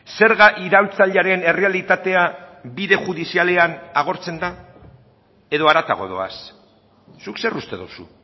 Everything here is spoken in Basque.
zerga iraultzailearen errealitatea bide judizialean agortzen da edo haratago doaz zuk zer uste duzu